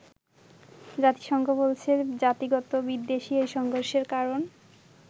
জাতিসংঘ বলছে জাতিগত বিদ্বেষই এই সংঘর্ষের কারণ।